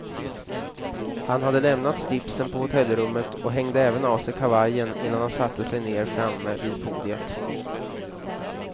Han hade lämnat slipsen på hotellrummet och hängde även av sig kavajen, innan han satte sig ner framme vid podiet.